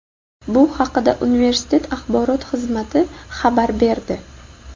Bu haqda universitet Axborot xizmati xabar berdi.